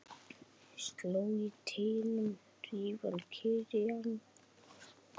Slök í teignum hrífan kyrjar.